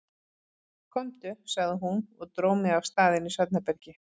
Komdu, sagði hún og dró mig af stað inn í svefnherbergi.